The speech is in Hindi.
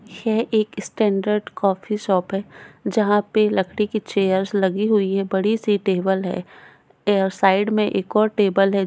ये एक स्टैन्डर्ड कॉफी शॉप है जहा पे लकड़ी की चेयर्स लगी हुई है बड़ी सी टेबल है ये साइड मे एक और टेबल है।